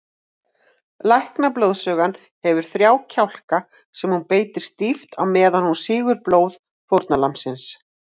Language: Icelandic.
Læknablóðsugan hefur þrjá kjálka sem hún beitir stíft á meðan hún sýgur blóð fórnarlambsins.